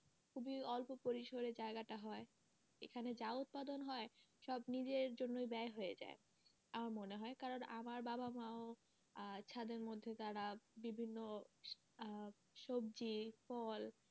খুবই অল্প পরিসরে জায়গাটা হয় এখানে যা উৎপাদন হয় সব নিজের জন্যই ব্যায় হয়ে যায় আমার মনে হয় কারন আমার বাবা মা ও আহ ছাদের মধ্যে তারা বিভিন্ন আহ সবজি, ফল,